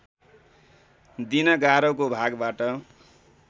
दिन गारोको भागबाट